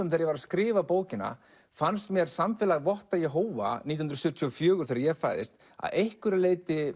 þegar ég var að skrifa bókina fannst mér samfélag Votta Jehóva nítján hundruð sjötíu og fjögur þegar ég fæðist að einhverju leyti